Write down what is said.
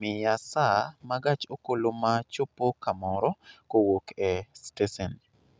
Miya saa ma gach okoloma chopo kamoro kowuok e stesen